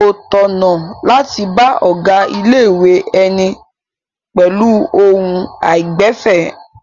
Kò tọ̀nà láti bá ọ̀gá ilé-ìwé ẹni pẹ̀lú ohùn àìgbẹ̀fẹ̀.